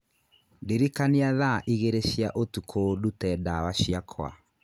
ndĩrikania thaa igĩrĩ cia ũtukũ, ndute ndawa ciakwa